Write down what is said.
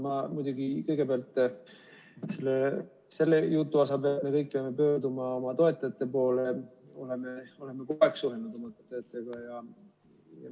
Ma muidugi kõigepealt selle jutu peale, et me kõik peame pöörduma oma toetajate poole, ütlen, et me oleme kogu aeg suhelnud oma toetajatega.